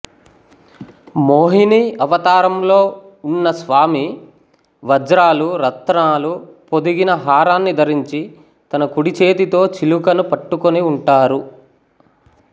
మోహినీ అవతారంలో ఉన్న స్వామి వజ్రాలు రత్నాలు పొదిగిన హారాన్ని ధరించి తన కుడిచేతితో చిలుకను పట్టుకొని ఉంటారు